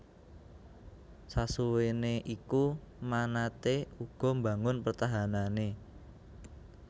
Sasuwéné iku manatee uga mbangun pertahanané